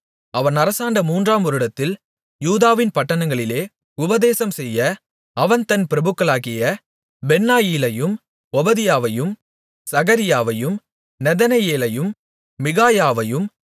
அவன் அரசாண்ட மூன்றாம் வருடத்தில் யூதாவின் பட்டணங்களிலே உபதேசம்செய்ய அவன் தன் பிரபுக்களாகிய பென்னாயிலையும் ஒபதியாவையும் சகரியாவையும் நெதனெயேலையும் மிகாயாவையும்